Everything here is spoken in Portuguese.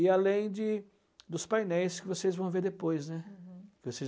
E além de dos painéis que vocês vão ver depois, né. Uhum.